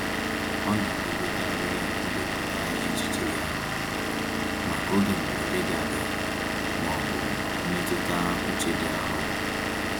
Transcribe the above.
Ọ na-edobekarị ndepụta ihe echiche ya, maka oge mberede ga ada ma ọ bụ mmetụta uche dị arọ.